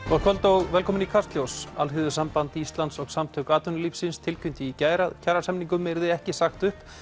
gott kvöld og velkomin í Kastljós Alþýðusamband Íslands og Samtök atvinnulífsins tilkynntu í gær að kjarasamningum yrði ekki sagt upp